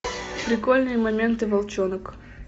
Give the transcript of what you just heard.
прикольные моменты волчонок